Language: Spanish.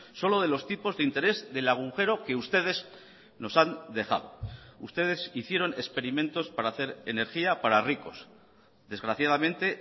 solo de los tipos de interés del agujero que ustedes nos han dejado ustedes hicieron experimentos para hacer energía para ricos desgraciadamente